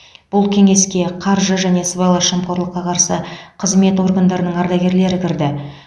бұл кеңеске қаржы және сыбайлас жемқорлыққа қарсы қызмет органдарының ардагерлері кірді